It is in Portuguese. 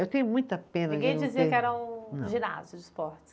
Eu tenho muita pena. Ninguém dizia que era um ginásio de esportes.